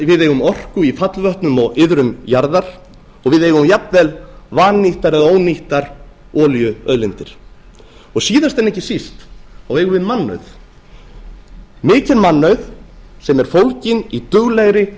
við eigum orku í fallvötnum og iðrum jarðar og við eigum jafnvel vannýttar eða ónýttar olíuauðlindir síðast en ekki síst eigum við mannauð mikinn mannauð sem er fólginn í duglegri